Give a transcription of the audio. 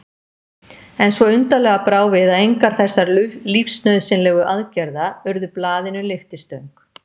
En svo undarlega brá við að engar þessara lífsnauðsynlegu aðgerða urðu blaðinu lyftistöng.